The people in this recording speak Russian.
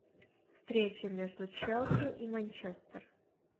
встреча между челси и манчестер